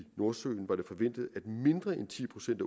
nordsøen var det forventet at mindre end ti procent